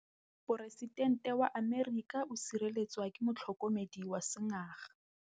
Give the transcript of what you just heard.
Poresitêntê wa Amerika o sireletswa ke motlhokomedi wa sengaga.